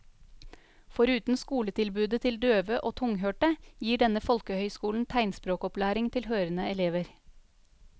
Foruten skoletilbudet til døve og tunghørte, gir denne folkehøyskolen tegnspråkopplæring til hørende elever.